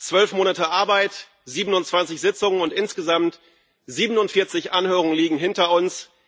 Zwölf Monate Arbeit, 27 Sitzungen und insgesamt 47 Anhörungen liegen hinter uns.